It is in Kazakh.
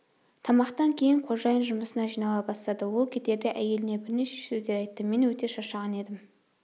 тамақтан кейін қожайын жұмысына жинала бастады ол кетерде әйеліне бірнеше сөздер айтты мен өте шаршаған едім